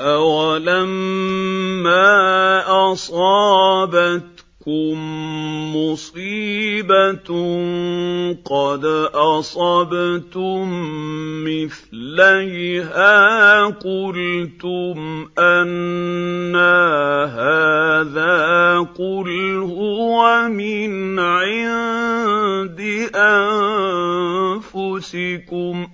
أَوَلَمَّا أَصَابَتْكُم مُّصِيبَةٌ قَدْ أَصَبْتُم مِّثْلَيْهَا قُلْتُمْ أَنَّىٰ هَٰذَا ۖ قُلْ هُوَ مِنْ عِندِ أَنفُسِكُمْ ۗ